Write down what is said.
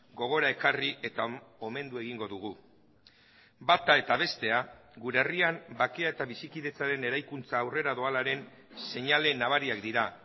gogora ekarri eta omendu egingo dugu bata eta bestea gure herrian bakea eta bizikidetzaren eraikuntza aurrera doalaren seinale nabariak dira